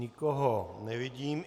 Nikoho nevidím.